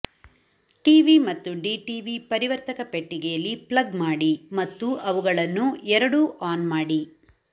TV ಮತ್ತು DTV ಪರಿವರ್ತಕ ಪೆಟ್ಟಿಗೆಯಲ್ಲಿ ಪ್ಲಗ್ ಮಾಡಿ ಮತ್ತು ಅವುಗಳನ್ನು ಎರಡೂ ಆನ್ ಮಾಡಿ